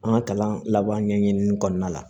An ka kalan laban ɲɛɲini kɔnɔna la